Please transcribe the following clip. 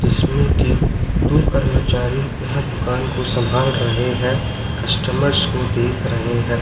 जिसमें की दो कर्मचारी यह दुकान को संभाल रहे हैं कस्टमर्स को देख रहे हैं।